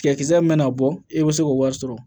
Tigɛkisɛ min bɛ na bɔ e bɛ se k'o wari sɔrɔ